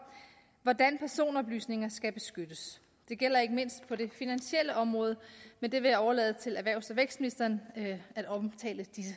hvordan personoplysninger skal beskyttes det gælder ikke mindst på det finansielle område men jeg vil overlade til erhvervs og vækstministeren at omtale disse